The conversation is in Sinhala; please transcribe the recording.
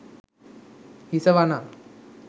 හිස වනා